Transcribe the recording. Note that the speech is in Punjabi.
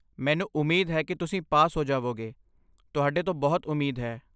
ਮੈਨੂੰ ਉਮੀਦ ਹੈ ਕਿ ਤੁਸੀਂ ਪਾਸ ਹੋ ਜਾਵੋਗੇ , ਤੁਹਾਡੇ ਤੋਂ ਬਹੁਤ ਉਮੀਦ ਹੈ